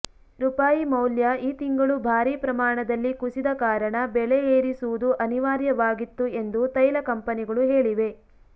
ರೂಪಾಯಿ ಮೌಲ್ಯ ಈ ತಿಂಗಳು ಭಾರಿ ಪ್ರಮಾಣದಲ್ಲಿ ಕುಸಿದ ಕಾರಣ ಬೆಲೆ ಏರಿಸುವುದು ಅನಿವಾರ್ಯವಾಗಿತ್ತು ಎಂದು ತೈಲ ಕಂಪನಿಗಳು ಹೇಳಿವೆ